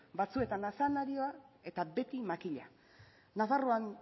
batzuetan azenarioa eta beti makila nafarroan